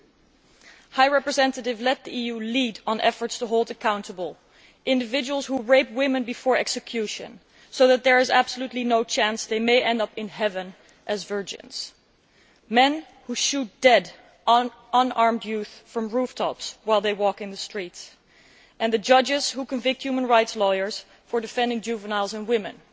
Vice President High Representative, let the EU lead on efforts to hold accountable individuals who rape women before execution so that there is absolutely no chance they may end up in heaven as virgins, men who shoot dead unarmed youths from rooftops while they walk in the streets, and the judges who convict human rights lawyers for defending juveniles and women.